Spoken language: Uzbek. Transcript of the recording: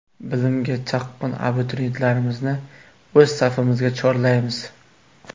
Bilimga chanqoq abituriyentlarimizni o‘z safimizga chorlaymiz.